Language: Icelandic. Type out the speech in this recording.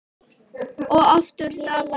Og aftur doblaði vestur.